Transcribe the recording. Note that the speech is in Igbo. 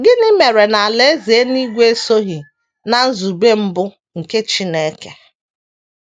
Gịnị mere na Alaeze eluigwe esoghị ná nzube mbụ nke Chineke?